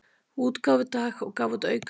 útgáfudag og gaf út aukablað.